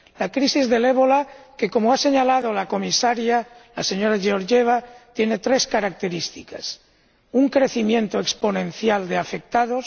La crisis del ébola que, como ha señalado la Comisaria, la señora Georgieva, tiene tres características un crecimiento exponencial de afectados